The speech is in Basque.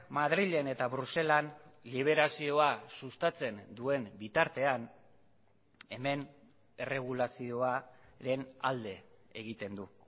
madrilen eta bruselan liberazioa sustatzen duen bitartean hemen erregulazioaren alde egiten du